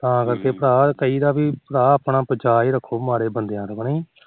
ਤਾ ਆਪਾ ਭਰਾ ਕਹੀ ਦਾ ਆਪਣਾ ਬਚਾਅ ਹੀ ਰੱਖੋ ਮਾੜੇ ਬੰਦਿਆ ਤੋ ਕ ਨਹੀ